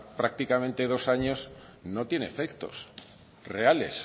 prácticamente dos años no tiene efectos reales